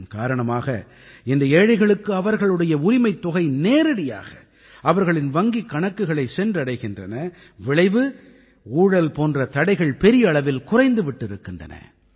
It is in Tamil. இதன் காரணமாக இன்று ஏழைகளுக்கு அவர்களுடைய உரிமைத் தொகை நேரடியாக அவர்களின் வங்கிக் கணக்குகளைச் சென்றடைகின்றன விளைவு ஊழல் போன்ற தடைகள் பெரிய அளவில் குறைந்து விட்டிருக்கின்றன